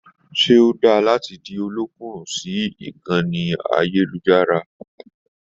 Se o dára láti di ọ̀lọ̀kundun sí ìkànnì ayelujara?